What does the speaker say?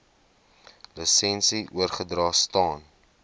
lisensie oorgedra staan